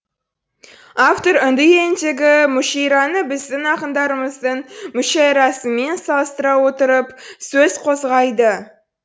автор үнді еліндегі мушейраны біздің ақындарымыздың мүшәйрасымен салыстыра отырып сөз қозғайды